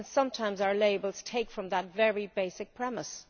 And sometimes our labels take away from that very basic premise.